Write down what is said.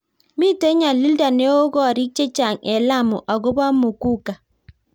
mito nyalilda neoo koriik chechang eng Lamu akobo muguka